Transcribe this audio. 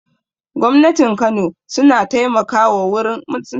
Gwamnatin kano su na taimaka wa wurin aurar da zaurawa